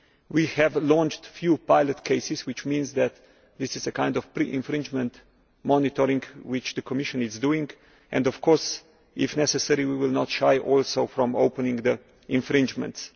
We have launched a few pilot cases, which means that this is a kind of pre infringement monitoring which the Commission is doing, and of course, if necessary, we will not shy away from opening the infringements.